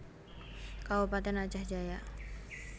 Kabupatèn Aceh Jaya